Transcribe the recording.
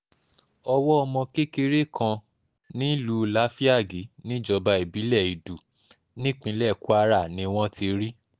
ọwọ́ ọmọ kékeré kan nílùú láfíàgì níjọba ìbílẹ̀ èdù nípínlẹ̀ kwara ni wọ́n ti rí i